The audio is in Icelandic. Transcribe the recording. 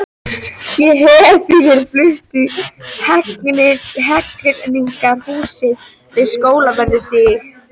Ég hef því verið fluttur í Hegningarhúsið við Skólavörðustíg.